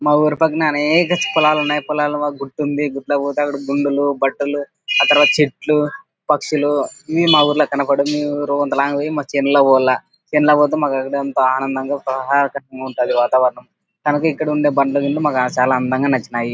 మా ఉరి పక్కన అనేక పొలాలు ఉన్నాయ్ పొలాలు బాగా గుర్తుంది గిట్ల పోతే అక్కడ గుండులు బట్టలు ఆ తరువాత చెట్లు పక్షులు ఇవి మా ఊర్లో కనపడ పోవాల సిమ్లా పొతే మాకు అక్కడ ఆనందంగా వాతావరణం కనుక ఇక్కడుండే మాకు చాలా అందంగా నచ్చినాయి.